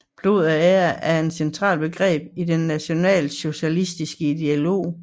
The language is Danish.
Blod og ære er et centralt begreb i den nationalsocialistiske ideologi